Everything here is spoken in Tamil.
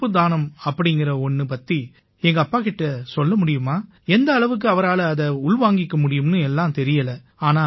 உறுப்பு தானம் அப்படீங்கற ஒண்ணு பத்தி எங்கப்பா கிட்ட சொல்ல முடியுமா எந்த அளவுக்கு அவரால அதை உள் வாங்கிக்க முடியும்னு எல்லாம் தெரியலை